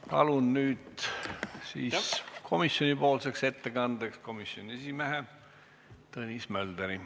Palun nüüd komisjoni ettekandeks siia komisjoni esimehe Tõnis Mölderi.